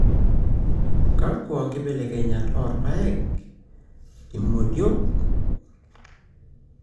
kakua nkibelekenyat oorpaek (Zea mays L) imodiok Vigna unguiculata L)